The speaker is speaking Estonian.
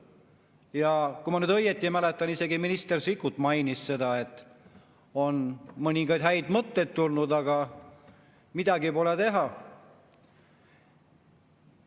Ja kui ma nüüd õigesti mäletan, siis isegi minister Sikkut mainis seda, et on mõningaid häid mõtteid tulnud, aga midagi pole teha.